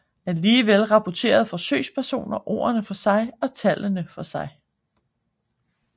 Alligevel rapporterede forsøgspersoner ordene for sig og tallene for sig